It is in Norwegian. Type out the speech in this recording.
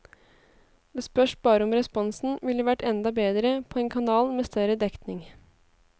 Det spørs bare om responsen ville vært enda bedre på en kanal med større dekning.